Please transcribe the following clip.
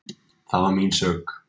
Það var mín sök.